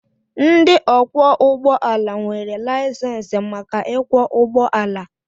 Ndị ọkwọ ụgbọala nwere laịsensị maka ịkwọ ụgbọala.